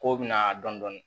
K'o bɛ na dɔn dɔni